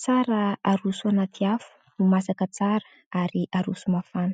tsara haroso anaty afo ho masaka tsara ary haroso mafana.